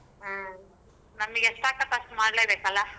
ಹ್ಮ್ ನಮಗ ಎಷ್ಟಾಕ್ಕೆತಿ ಅಷ್ಟ್ ಮಾಡ್ಲೇಬೇಕಲ್ಲ.